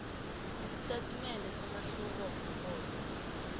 isitatimende somahluko womrholo